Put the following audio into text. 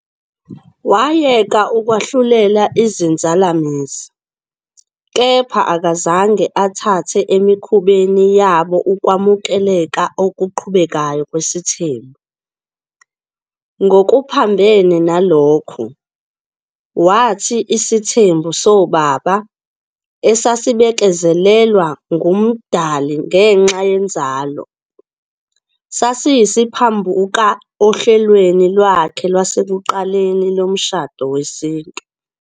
Wayeka ukwahlulela izinzalamizi, kepha akazange athathe emikhubeni yabo ukwamukeleka okuqhubekayo kwesithembu. Ngokuphambene nalokho, wathi isithembu soBaba, esasibekezelelwa nguMdali ngenxa yenzalo, sasiyisiphambuka ohlelweni Lwakhe lwasekuqaleni lomshado wesintu.